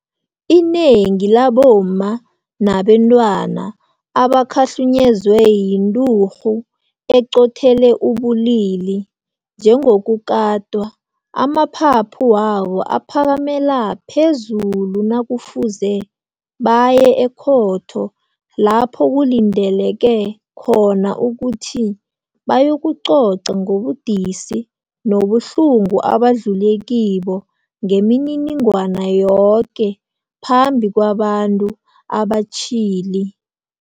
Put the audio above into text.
Inengi labomma nabentwana abakhahlunyezwe yinturhu eqothele ubulili, njengokukatwa, amaphaphu wabo aphakamela phezulu nakufuze baye ekhotho lapho kulindeleke khona ukuthi bayokucoca ngobudisi nobuhlungu abadlule kibo ngemininingwana yoke phambi kwabantu abatjhili.